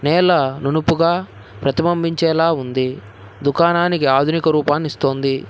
నేల నునుపుగా ప్రతిబింబించేలా ఉంది దుకాణానికి ఆధునిక రూపాన్ని ఇస్తోంది.